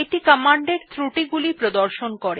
এটি কমান্ড এর ত্রুটি গুলি প্রদর্শন করে